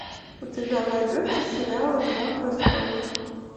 у тебя найдется сериал игра престолов